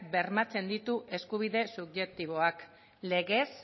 bermatzen ditu eskubide subjektiboak legez